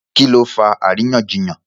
Kí ló fa àríyànjiyàn?